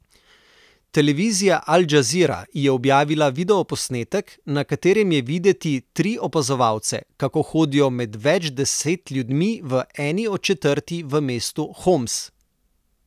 Televizija Al Džazira je objavila videoposnetek, na katerem je videti tri opazovalce, kako hodijo med več deset ljudmi v eni od četrti v mestu Homs.